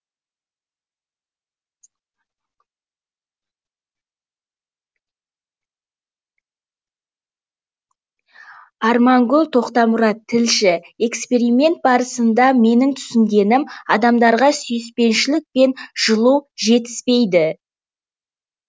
армангүл тоқтамұрат тілші эксперимент барысында менің түсінгенім адамдарға сүйіспеншілік пен жылу жетіспейді